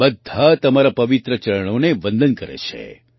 બધા તમારાં પવિત્ર ચરણોને વંદન કરે છે